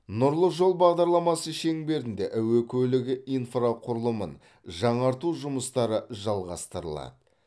нұрлы жол бағдарламасы шеңберінде әуе көлігі инфрақұрылымын жаңарту жұмыстары жалғастырылады